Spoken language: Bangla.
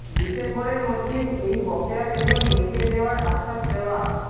ডিসেম্বরের মধ্যেই এই বকেয়া বেতন মিটিয়ে দেওয়ার আশ্বাস দেওয়া